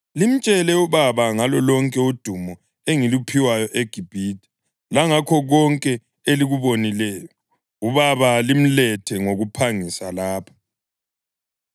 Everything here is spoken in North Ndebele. Limtshele ubaba ngalo lonke udumo engiluphiwayo eGibhithe langakho konke elikubonileyo. Ubaba limlethe ngokuphangisa lapha.”